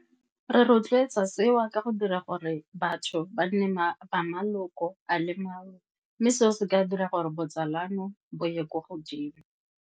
Re rotloetsa seo ka go dira gore batho ba nne maloko a le mangwe, mme seo se ka dira gore botsalano bo ye kwa godimo.